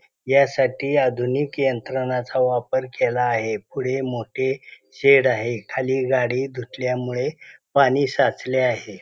यासाठी आधुनिक यंत्रणाचा वापर केला आहे. पुढे मोठे शेड आहे. खाली गाडी धुतल्यामुळे पाणी साचले आहे.